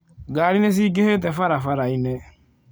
Ngari nĩ ciingĩhĩte barabara-inĩ.